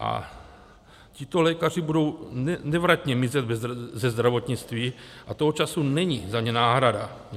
A tito lékaři budou nevratně mizet ze zdravotnictví a toho času není za ně náhrada.